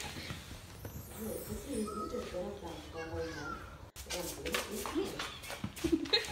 джой какие виды гражданская война в анголе ты знаешь